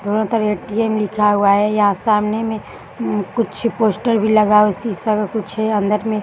दोनों तरफ ए.टी.एम. लिखा हुआ है यहाँ सामने में उम कुछ पोस्टर भी लगा है और शीशे का कुछ है अंदर में।